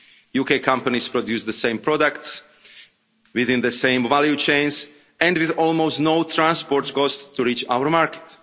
UK companies produce the same products, within the same value chains, and with almost no transport costs to reach our market.